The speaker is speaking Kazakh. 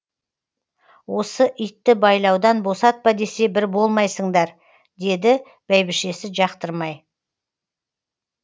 осы итті байлаудан босатпа десе бір болмайсыңдар деді бәйбішесі жақтырмай